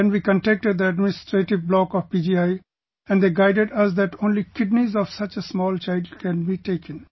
Then we contacted the administrative block of PGI and they guided us that only kidneys of such a small child can be taken